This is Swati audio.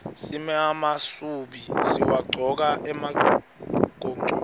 simemasubi siwagcoka emagontfweni